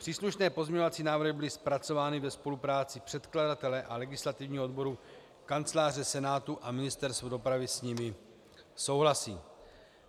Příslušné pozměňovací návrhy byly zpracovány ve spolupráci předkladatele a legislativního odboru Kanceláře Senátu a Ministerstvo dopravy s nimi souhlasí.